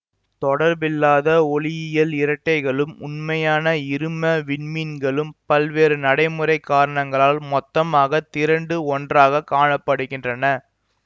தொடர்பில்லாத ஒளியியல் இரட்டைகளும் உண்மையான இரும விண்மீன்களும் பல்வேறு நடைமுறை காரணங்களால் மொத்தமாக திரண்டு ஒன்றாக காண படுகின்றன